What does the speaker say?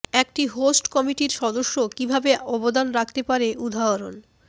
একটি হোস্ট কমিটির সদস্য কিভাবে অবদান রাখতে পারে উদাহরণ